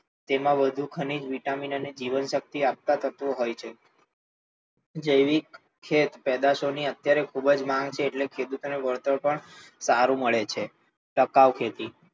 તેમ વધુ ખનીજ, વિટામિન અને જીવનશક્તિ આપતા તત્વો હોય છે. જૈવિક ખેત પેદાશો ની અત્યારે ખૂબ જ માંગ છે એટલે ખેડૂત ને વડતર પણ સારું મડે છે. ટકાઉ ખેતી,